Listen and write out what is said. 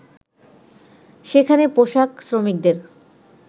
সেখানে পোশাক শ্রমিকদের